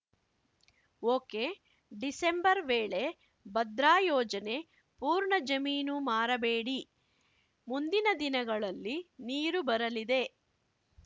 ಒಕೆಡಿಸೆಂಬರ್‌ ವೇಳೆ ಭದ್ರಾ ಯೋಜನೆ ಪೂರ್ಣ ಜಮೀನು ಮಾರಬೇಡಿ ಮುಂದಿನ ದಿನಗಳಲ್ಲಿ ನೀರು ಬರಲಿದೆ